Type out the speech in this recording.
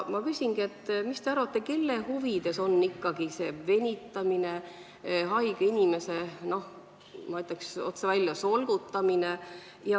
Ma küsingi, mis te arvate, kelle huvides on ikkagi see venitamine ja haige inimese, ma ütlen otse välja, solgutamine.